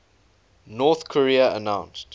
north korea announced